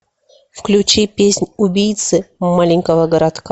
включи песнь убийцы маленького городка